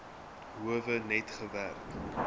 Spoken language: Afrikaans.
howe net gewerk